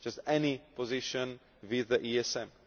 just any position with the ESM.